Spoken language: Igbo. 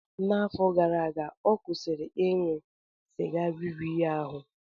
N'afọ gara aga, ọ kwụsịrị ịṅụ sịga riri ya ahụ.